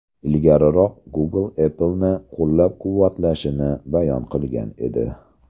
Ilgariroq Google Apple’ni qo‘llab-quvvatlashini bayon qilgan edi .